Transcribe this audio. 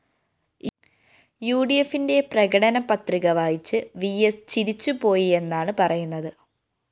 യുഡിഎഫിന്റെ പ്രകടന പത്രിക വായിച്ച് വിഎസ് ചിരിച്ചുപോയിയെന്നാണ് പറയുന്നത്